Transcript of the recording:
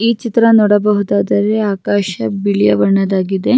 ಈ ಚಿತ್ರ ನೋಡಬಹುದಾದ್ರೆ ಆಕಾಶ ಬಿಳಿಯಬಿ ಬಣ್ಣದಾಗಿದೆ .